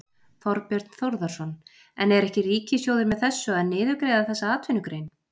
Þorbjörn Þórðarson: En er ekki Ríkissjóður með þessu að niðurgreiða þessa atvinnugrein?